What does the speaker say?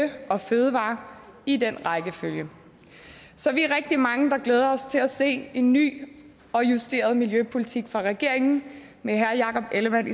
og fødevarer i den rækkefølge så vi er rigtig mange der glæder os til at se en ny og justeret miljøpolitik fra regeringen med herre jakob ellemann